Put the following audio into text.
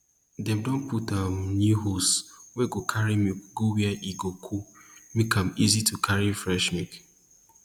dem don put um new hose wey go carry milk go where e go cool make am easy to carry fresh milk